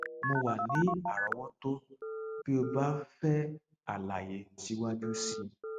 mo wà ní àrọwọtó bí o bá ń fẹ àlàyé síwájú sí i